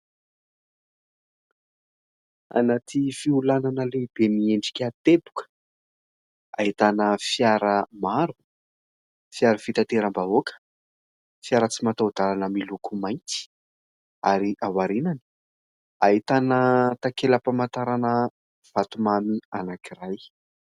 Anaty fiolanana lehibe miendrika teboka ahitana fiara maro : fiara fitateram-bahoaka, fiara tsy mataho-dalana miloko mainty ary aorianany ahitana takelam-pamantarana vatomamy anankiray.